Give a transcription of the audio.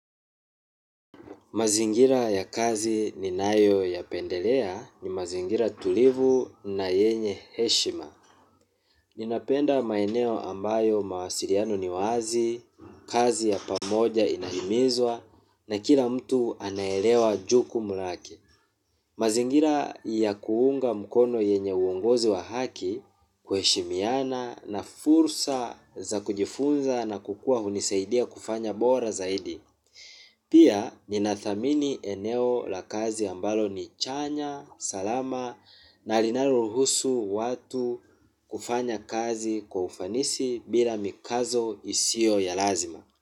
Mazingira ya kazi ninayo yapendelea ni mazingira tulivu na yenye heshima. Ninapenda maeneo ambayo mawasiliano ni wazi, kazi ya pamoja inahimizwa na kila mtu anaelewa jukumu lake. Mazingira ya kuunga mkono yenye uongozi wa haki kuheshimiana na fursa za kujifunza na kukua hunisaidia kufanya bora zaidi. Pia ninathamini eneo la kazi ambalo ni chanya, salama na linaloruhusu watu kufanya kazi kwa ufanisi bila mikazo isiyo ya lazima.